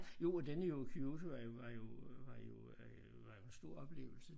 Jo og den er jo Kyoto er jo var jo var jo var jo en stor oplevelse